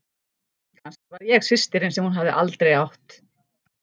Kannski var ég systirin sem hún hafði aldrei átt.